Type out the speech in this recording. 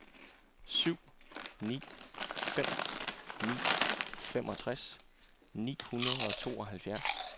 syv ni fem ni femogtres ni hundrede og tooghalvfjerds